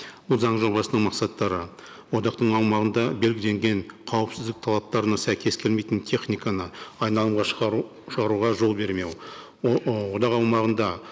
бұл заң жобасының мақсаттары одақтың аумағында белгіленген қауіпсіздік талаптарына сәйкес келмейтін техниканы айналымға шығаруға жол бермеу ы одақ аумағында